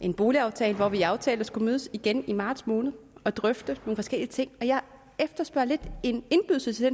en boligaftale hvor vi aftalte at skulle mødes igen i marts måned og drøfte nogle forskellige ting jeg efterspørger lidt en indbydelse til